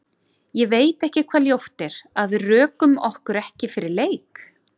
Ég veit ekki hvað ljótt er, að við rökum okkur ekki fyrir leik?